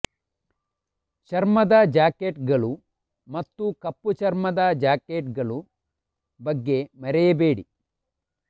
ಚರ್ಮದ ಜಾಕೆಟ್ಗಳು ಮತ್ತು ಕಪ್ಪು ಚರ್ಮದ ಜಾಕೆಟ್ಗಳು ಬಗ್ಗೆ ಮರೆಯಬೇಡಿ